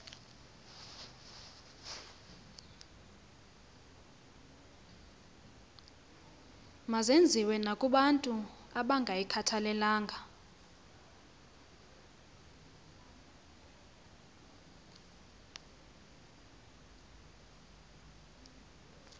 mazenziwe nakobantu abangayikhathalelanga